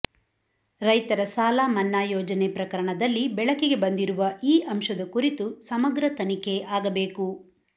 ರೈತರ ಸಾಲಮನ್ನಾ ಯೋಜನೆ ಪ್ರಕರಣದಲ್ಲಿ ಬೆಳಕಿಗೆ ಬಂದಿರುವ ಈ ಅಂಶದ ಕುರಿತು ಸಮಗ್ರ ತನಿಖೆ ಆಗಬೇಕು